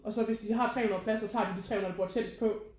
Og så hvis de har 300 pladser så tager de de 300 der bor tættest på